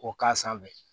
K'o k'a sanfɛ